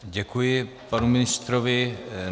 Děkuji panu ministrovi.